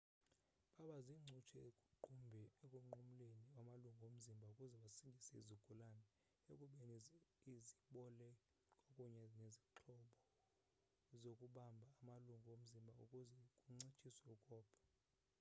baba ziincutshe ekunqumleni amalungu omzimba ukuze basindise izigulana ekubeni zibole kwakunye nezixhobo zokubamba amalungu omzimba ukuze kuncitshiwe ukopha